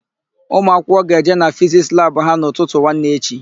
Ụmụakwụkwọ ga-eje na Fiziks labụ ha n'ụtụtụ nwanne echi.